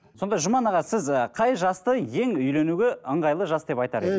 сонда жұман аға сіз ы қай жасты ең үйленуге ыңғайлы жас деп айтар